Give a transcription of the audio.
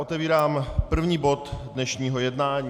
Otevírám první bod dnešního jednání.